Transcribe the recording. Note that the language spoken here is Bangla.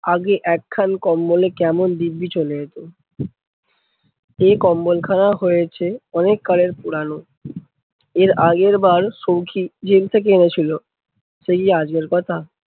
আগে একখান কম্বলে কেমন দিব্বি চলে যেত। এ কম্বলখানা হয়েছে অনেক কালের পুরানো, এর আগেরবার সৌখী জেল থেকে এনেছিলো। সেই আজগের কথা